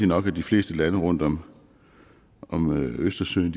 nok at de fleste lande rundt om om østersøen